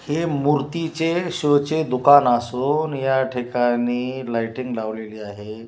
हे मूर्तीचे शोचे दुकान असून या ठिकाणी लाईटिंग लावलेली आहे.